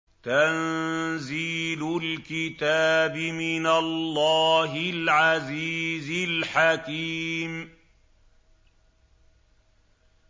تَنزِيلُ الْكِتَابِ مِنَ اللَّهِ الْعَزِيزِ الْحَكِيمِ